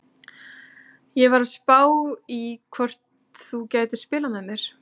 Ég var að spá í hvort þú gætir spilað með mér?